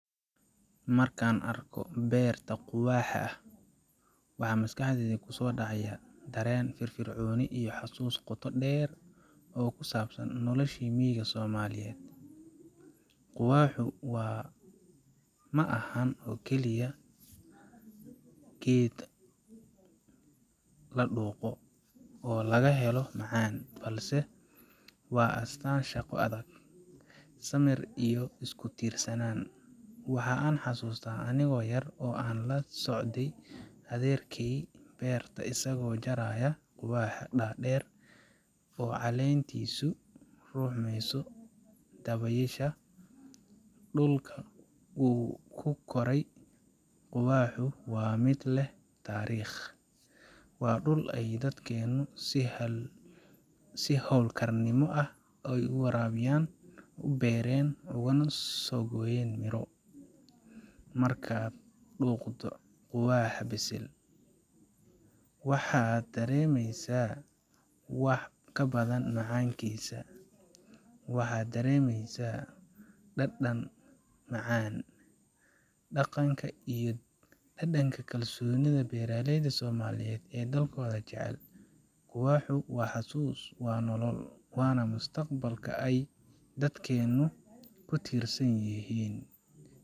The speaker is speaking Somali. Markan arko berta quwaxa ah waxa, maskaxdeydha kuso dacayo dareen iyo fir fircooni xusus qoto deer oo kusabsan nolosha miiga somaliyed quwaaxu waa ma ahan oo kaliya geed laduuqo oo lagahelo macaan balse waa astan shaqo adag samir iyo isku tiirsanan waxa aan xasusta anigo yar oo an lasocdhe adeerkey beerta isago jarayo quwaxa dadeer oo calentisu ruxmeyso dawesha dulka uu kukorey quwaaxu wa mid leh tariiq wa dul ey dadkeynu si hool karnimo leh uwarawiyan ubereen oguna sogoyen miro marka duuqdho quwaxa bisil waxa daremeysa wax kabadan macankiisa waxa daremeysa dadan macaan daqanka iyo dadanka kalsoonida beraleydha somaliyed oo dalkoda jecel quwaxu wa xasus wa nolol wana mustaqbalka ay dadkeynu kutiirsan yihin